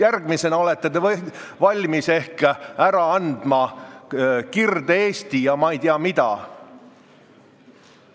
Järgmisena olete valmis ehk ära andma Kirde-Eesti ja ei tea mida.